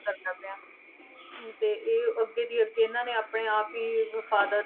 ਕਰਨਾ ਪਿਆ, ਤੇ ਇਹ ਅੱਗੇ ਦੀ ਅੱਗੇ ਇਹਨਾਂ ਨੇ ਆਪਣੇ ਆਪ ਹੀ ਅਹ father